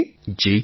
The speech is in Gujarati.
પ્રધાનમંત્રી જી